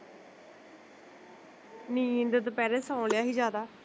ਨੀਂਦ ਦੁਪੈਰੇ ਸੋਂ ਲਿਆ ਸੀ ਜਾਦਾ